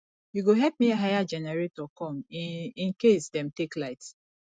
you go help me hire generator come in in case dem take light